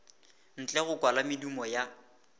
ntle go kwala medumo ya